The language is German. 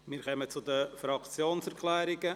Wir kommen zu den Fraktionserklärungen.